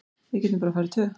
Við getum bara farið tvö.